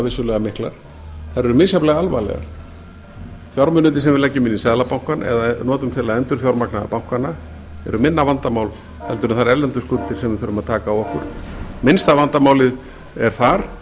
vissulega miklar þær eru misjafnlega alvarlegar fjármunirnir sem við leggjum inn í seðlabankanna eða notum til að endurfjármagna bankana eru minna vandamál en þær erlendu skuldir sem við þurfum að taka á okkur minnsta vandamálið er þar